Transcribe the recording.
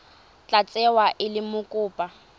tla tsewa e le mokopa